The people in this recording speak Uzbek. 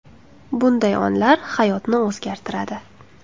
Bunday onlar hayotni o‘zgartiradi.